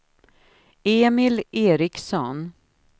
Emil Eriksson